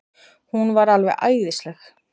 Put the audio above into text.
Hún var alveg æðisleg.